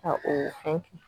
Ka oo fɛn kɛ